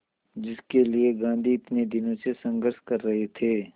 जिसके लिए गांधी इतने दिनों से संघर्ष कर रहे थे